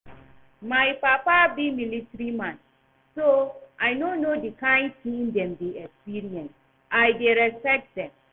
My papa be military man so I no know the kyn thing dem dey experience. I dey respect dem